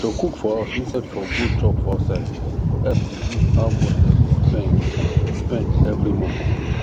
to cook for house instead for go chop for outside help reduce how much dem dey spend spend every month